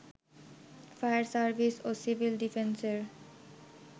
fire service ও civil ডিফেন্সের